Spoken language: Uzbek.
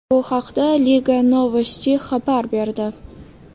Bu haqda Liga Novosti xabar berdi .